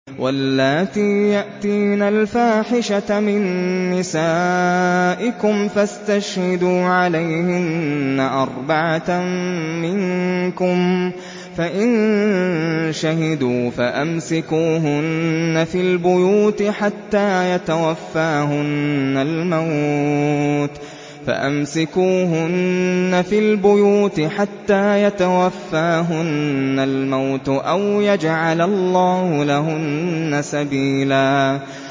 وَاللَّاتِي يَأْتِينَ الْفَاحِشَةَ مِن نِّسَائِكُمْ فَاسْتَشْهِدُوا عَلَيْهِنَّ أَرْبَعَةً مِّنكُمْ ۖ فَإِن شَهِدُوا فَأَمْسِكُوهُنَّ فِي الْبُيُوتِ حَتَّىٰ يَتَوَفَّاهُنَّ الْمَوْتُ أَوْ يَجْعَلَ اللَّهُ لَهُنَّ سَبِيلًا